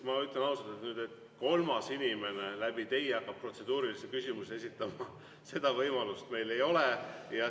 Ma ütlen ausalt, et kui kolmas inimene hakkab teie protseduurilisi küsimusi esitama, siis seda võimalust meil ei ole.